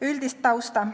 Üldist tausta.